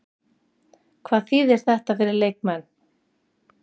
Hvað þýðir þetta fyrir leikmenn?